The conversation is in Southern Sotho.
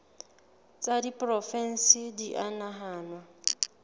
tsa diporofensi di a nahanwa